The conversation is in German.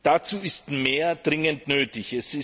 Dazu ist mehr dringend nötig.